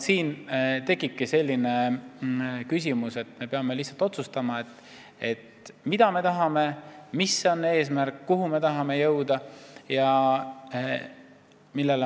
Siin tekibki selline seis, et me peame lihtsalt otsustama, mida me tahame, mis on meie eesmärk, kuhu me tahame jõuda.